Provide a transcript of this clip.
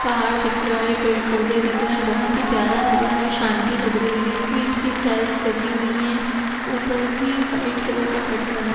पहाड़ दिख रहा है पेड़ पौधे दिख रहे हैं बहोत ही प्यारा लग रहा है शांति लग रही है ईंट की टाइल्स लगी हुई हैं ऊपर भी व्हाइट कलर का हट बना --